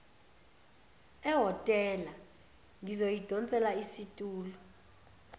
ehhotela ngizoyidonsela isitulo